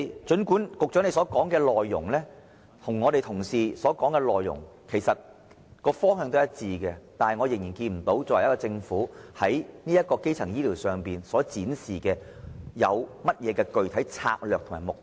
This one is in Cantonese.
儘管局長與我們一班同事所說的內容方向一致，然而，我仍然看不見政府在基層醫療方面，有何具體策略及目標。